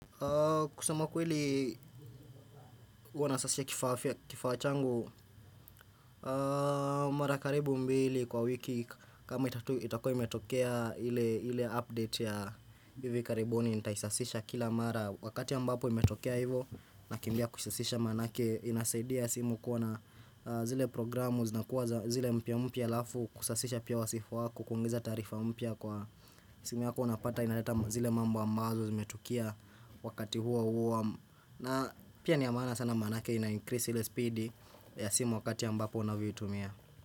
Kusema ukweli huwa nasasisha kifaa changu Mara karibu mbili kwa wiki kama itakuwa imetokea hile update ya hivi karibuni nitaisasisha kila mara Wakati ambapo imetokea hivo nakimbia kusasisha manake inasaidia simu kuwa zile programu zinakuwa zile mpya mpya alafu kusasisha pia wa simu wako hukuongeza tarifa mpya kwa simu yako napata inaleta zile mambo ambazo zimetukia wakati huo huo na pia ni ya maana sana manake ina increase ile speed ya simu wakati ambapo unavyoitumia.